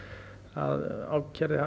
að ákærði